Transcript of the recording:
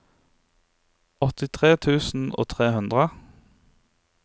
åttitre tusen og tre hundre